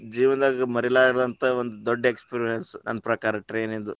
ಜೀವನದಾಗ ಮರಿಲಾರದಂತ ಒಂದ ದೊಡ್ಡ experience , ನನ್ನ ಪ್ರಕಾರ train ದು.